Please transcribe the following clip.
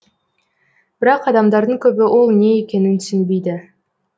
бірақ адамдардың көбі ол не екенін түсінбейді